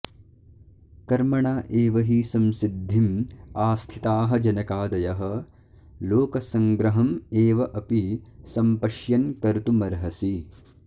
कर्मणा एव हि संसिद्धिम् आस्थिताः जनकादयः लोकसङ्ग्रहम् एव अपि सम्पश्यन् कर्तुमर्हसि